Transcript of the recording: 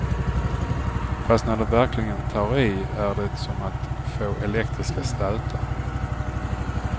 Fast när de verkligen tar i är det som att få elektriska stötar.